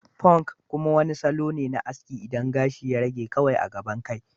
Punk kuma wani salo ne na aski inda gashi ya rage kawai a gaban kai.